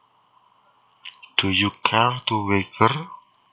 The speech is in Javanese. Do you care to wager